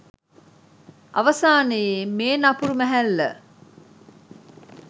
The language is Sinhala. අවසානයේ මේ නපුරු මැහැල්ල